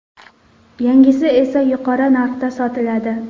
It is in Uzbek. Yangisi esa yuqori narxda sotiladi.